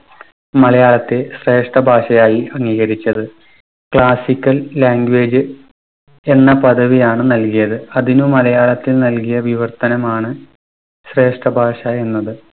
മലയാളത്തെ ശ്രേഷ്ഠഭാഷയായി അംഗീകരിച്ചത്. classical language എന്ന പദവിയാണ് നൽകിയത്. അതിനു മലയാളത്തിൽ നൽകിയ വിവർത്തനമാണ് ശ്രേഷ്ഠഭാഷാ എന്നത്.